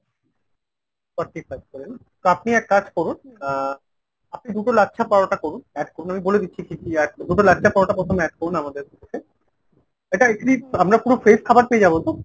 forty five করে নাহ। তো আপনি এক কাজ করুন আহ আপনি দুটো লাচ্ছা পরোটা করুন add করুন আমি বলে দিচ্ছি কি কি add দুটো লাচ্ছা পরোটা প্রথমে add করুন আমাদের । এটা আমরা পুরো fresh খাবার পেয়ে যাবো তো ?